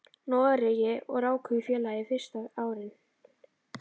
Noregi og ráku í félagi fyrstu árin.